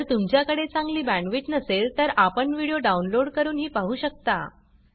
जर तुमच्याकडे चांगली बॅंडविड्त नसेल तर आपण व्हिडिओ डाउनलोड करूनही पाहू शकता